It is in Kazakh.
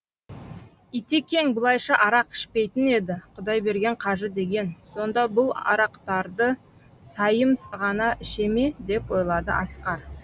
итекең бұлайша арақ ішпейтін еді құдайберген қажы деген сонда бұл арақтарды сайым ғана іше ме деп ойлады асқар